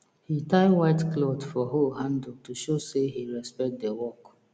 he tie white cloth for hoe handle to show say he respect the work